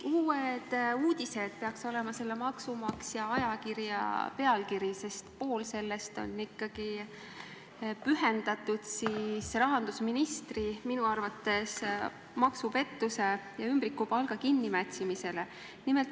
"Uued uudised" peaks olema selle maksumaksja ajakirja artikli pealkiri, sest pool sellest on pühendatud rahandusministri minu arvates maksupettuse ja ümbrikupalga kinnimätsimisele.